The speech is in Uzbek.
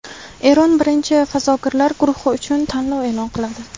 Eron birinchi fazogirlar guruhi uchun tanlov e’lon qiladi.